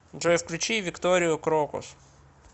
джой включи викторию крокус